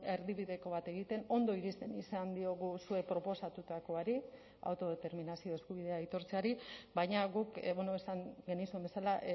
erdibideko bat egiten ondo iristen izan diogu zuek proposatutakoari autodeterminazio eskubidea aitortzeari baina guk esan genizun bezala